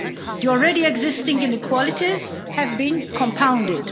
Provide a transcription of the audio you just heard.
The already existing inequalities have been compounded